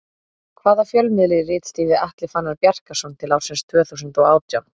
Hvaða fjölmiðli ritstýrði Atli Fannar Bjarkason til ársins tvö þúsund og átján?